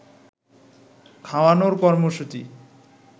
খাওয়ানোর কর্মসূচী